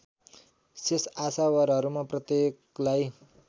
शेष आशावारहरूमा प्रत्येकलाई